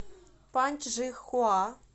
паньчжихуа